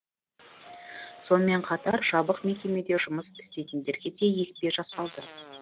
сонымен қатар жабық мекемеде жұмыс істейтіндерге де екпе жасалды